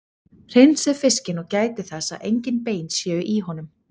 Hreinsið fiskinn og gætið þess að engin bein séu í honum.